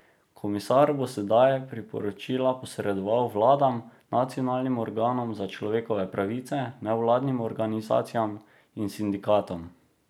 Komisar bo sedaj priporočila posredoval vladam, nacionalnim organom za človekove pravice, nevladnim organizacijam in sindikatom.